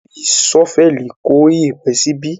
A lé fi ṣọ́vẹ̀lì kó iyẹ̀pẹ̀ síbí.